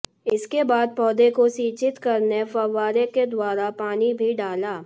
इसके बाद पौधे को सिंचित करने फव्वारे के द्वारा पानी भी डाला